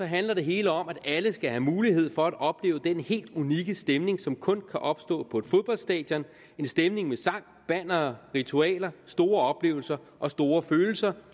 handler det hele om at alle skal have mulighed for at opleve den helt unikke stemning som kun kan opstå på et fodboldstadion en stemning med sang bannere ritualer store oplevelser og store følelser